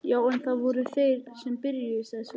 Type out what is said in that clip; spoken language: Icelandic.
Já en, það voru þeir sem byrjuðu, sagði Svenni.